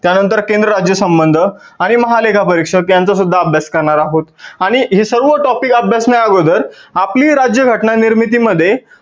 त्या नंतर केंद्र राज्य संबंध आणि महालेखा परिषद यांचा सुद्धा अभ्यास करणार आहोत आणि हे सर्व topic अभ्यासण्या आगोदर आपली राज्य घटना निर्मिती मध्ये